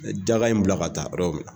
Me Daga in bila ka taa yoro bɛɛ.